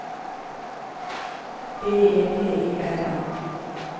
B E T I N A